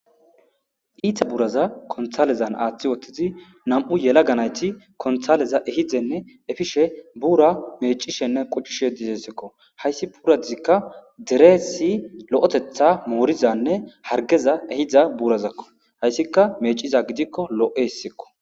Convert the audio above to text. Iita buraza konthalezan aaththi wottizi nam'u yela ganayti konthaleza ehidenne efishe buura mecishenne quccishe disessekko hayssi puuradizikka dereesi lo'etetha moorizanne hargeza ehidza buurazakko hayssikka meciza gidikko lo'e hessikko